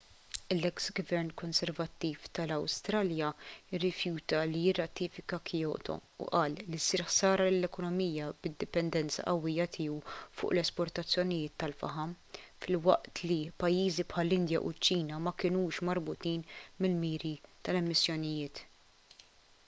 l-eks gvern konservattiv tal-awstralja rrifjuta li jirratifika kyoto u qal li ssir ħsara lill-ekonomija bid-dipendenza qawwija tiegħu fuq l-esportazzjonijiet tal-faħam filwaqt li pajjiżi bħall-indja u ċ-ċina ma kinux marbutin mill-miri tal-emissjonijiet